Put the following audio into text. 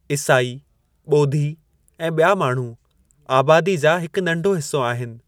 ईसाई, ॿोधी ऐं बि॒या माण्हू आबादी जा हिकु नंढो हिस्सो आहिनि।